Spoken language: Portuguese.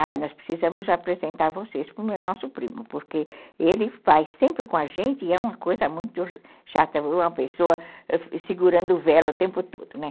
Ah, nós precisamos apresentar vocês para o nosso primo, porque ele vai sempre com a gente e é uma coisa muito chata, uma pessoa segurando vela o tempo todo, né?